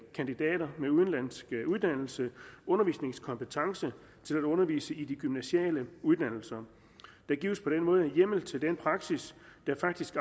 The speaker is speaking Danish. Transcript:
kandidater med udenlandsk uddannelse kompetence til at undervise på de gymnasiale uddannelser der gives på den måde hjemmel til den praksis der faktisk